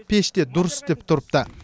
пеш те дұрыс істеп тұрыпты